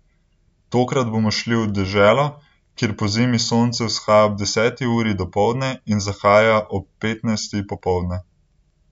Tokrat bomo šli v deželo, kjer pozimi sonce vzhaja ob deseti uri dopoldne in zahaja ob petnajsti popoldne.